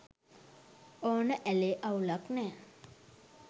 ඕන ඇලේ අවුලක් නෑ.